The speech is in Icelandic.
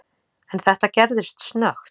En þetta gerðist snöggt.